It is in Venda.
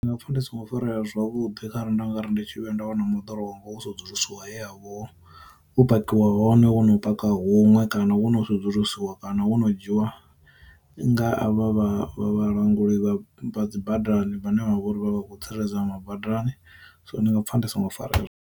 Nga pfa ndi songo farea zwavhuḓi kha ra nda nga ri ndi tshi vhe nda wana moḓoro wanga wo sedzulusiwa he yavho u pakiwa hone wo no paka huṅwe kana wo no sedzulusiwa kana wo no dzhiwa nga a vha vhalanguli vha dzi badani vhane vhavha uri vha khou tsireledza badani, so ndi nga pfa ndi songo fara.